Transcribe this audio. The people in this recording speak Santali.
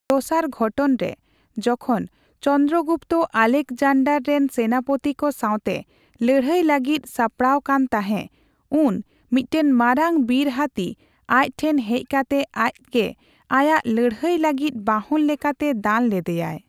ᱫᱚᱥᱟᱨ ᱜᱷᱚᱴᱚᱱ ᱨᱮ, ᱡᱚᱠᱷᱚᱱ ᱪᱚᱱᱫᱚᱨᱚᱜᱩᱯᱛᱚ ᱟᱞᱮᱠᱡᱟᱱᱰᱟᱨ ᱨᱮᱱ ᱥᱮᱱᱟᱯᱚᱛᱤ ᱠᱚ ᱥᱟᱸᱣᱛᱮ ᱞᱟᱹᱲᱦᱟᱹᱭ ᱞᱟᱹᱜᱤᱫ ᱥᱟᱯᱲᱟᱣ ᱠᱟᱱ ᱛᱟᱸᱦᱮ ᱾ ᱩᱱ ᱢᱤᱫᱴᱟᱝ ᱢᱟᱨᱟᱝ ᱵᱤᱨ ᱦᱟᱹᱛᱤ ᱟᱪ ᱴᱷᱮᱱ ᱦᱮᱪ ᱠᱟᱛᱮ ᱟᱪᱜᱮ ᱟᱭᱟᱜ ᱞᱟᱹᱲᱦᱟᱹᱭ ᱞᱟᱹᱜᱤᱫ ᱵᱟᱦᱚᱱ ᱞᱮᱠᱟᱛᱮ ᱫᱟᱱ ᱞᱮᱫᱮᱭᱟᱭ ᱾